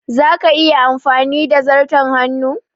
Za ka iya amfani da zarton hannu?